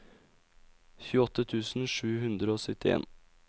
tjueåtte tusen sju hundre og syttien